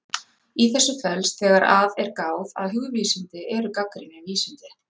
Í þessu felst, þegar að er gáð, að hugvísindi eru gagnrýnin vísindi.